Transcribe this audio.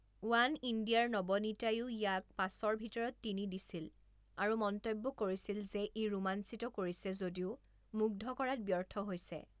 One ইণ্ডিয়াৰ নবনিতাইও ইয়াক পাঁচৰ ভিতৰত তিনি দিছিল আৰু মন্তব্য কৰিছিল যে ই ৰোমাঞ্চিত কৰিছে যদিও মুগ্ধ কৰাত ব্যৰ্থ হৈছে।